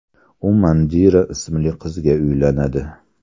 U Mandira ismli qizga uylanadi.